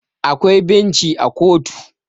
akwai benci a kotu